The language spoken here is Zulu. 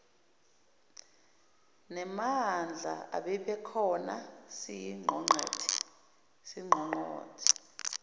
nemadlana ebikhona siyiqongqothe